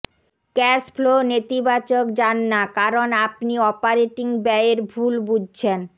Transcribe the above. cash flow নেতিবাচক যান না কারণ আপনি অপারেটিং ব্যয়ের ভুল বুঝছেন